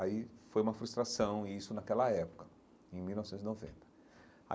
Aí foi uma frustração isso naquela época, em mil novecentos e noventa.